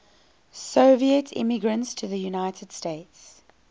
soviet immigrants to the united states